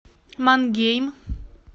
мангейм